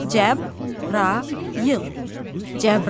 Cəbrayıl, Cəbrayıl.